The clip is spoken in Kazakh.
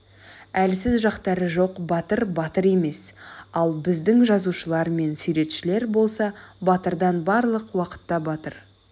әлсіз жақтары жоқ батыр батыр емес ал біздің жазушылар мен суретшілер болса батырдан барлық уақытта батыр